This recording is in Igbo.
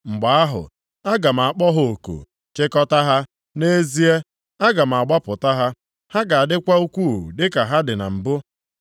Mgbe ahụ, aga m akpọ ha oku, chịkọtaa ha. Nʼezie, aga m agbapụta ha, ha ga-adịkwa ukwuu dịka ha dị na mbụ.